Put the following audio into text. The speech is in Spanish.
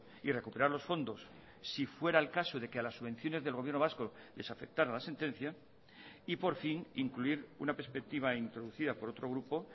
y recuperar los fondos si fuera el caso de que a las subvenciones del gobierno vasco les afectara la sentencia y por fin incluir una perspectiva introducida por otro grupo